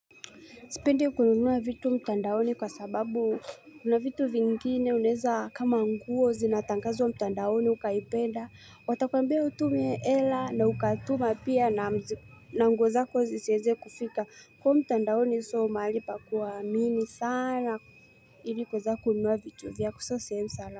Sipendi kununua vitu mtandaoni kwa sababu kuna vitu vingine unaweza kama nguo zinatangazwa mtandaoni ukaipenda. Watakwambia utume hela na ukatuma pia na nguo zako zisiweze kufika. Kwa mtandaoni sio mahali pa kuamini sana ili kuweza kununua vitu vyako sasa sehemu sana.